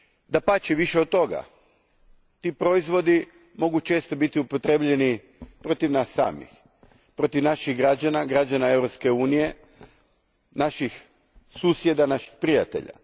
Dapače, više od toga, ti proizvodi mogu često biti upotrijebljeni protiv nas samih, protiv naših građana, građana Europske unije, naših susjeda, naših prijatelja.